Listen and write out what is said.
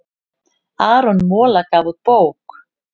Aron Mola gaf út bók